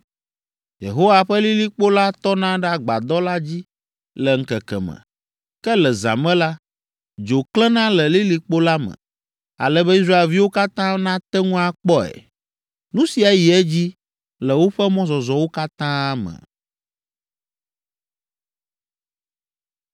Yehowa ƒe lilikpo la tɔna ɖe agbadɔ la dzi le ŋkeke me. Ke le zã me la, dzo klẽna le lilikpo la me, ale be Israelviwo katã nate ŋu akpɔe. Nu sia yi edzi le woƒe mɔzɔzɔwo katã me.